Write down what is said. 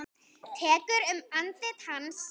Tekur um andlit hans.